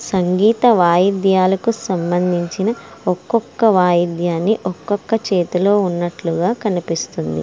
సంగీత వాయిద్యాలకు సంబంధించిన ఒకొక్క వాయిద్యాన్ని ఒక్కొక్క చేతిలో ఉన్నట్లుగా కనిపిస్తుంది.